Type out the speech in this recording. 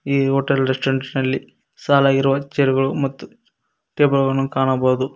ಈ hotel restaurant ನಲ್ಲಿ ಸಾಲಗಿರುವ ಚೇರುಗಳು ಮತ್ತು ಟೇಬಲ್ ಗಳನ್ನು ಕಾಣಬಹುದು.